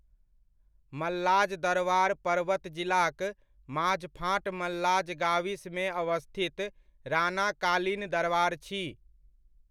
मल्लाज दरवार पर्वत जिलाक माझफाँट मल्लाज गाविसमे अवस्थित राणाकालिन दरवार छी।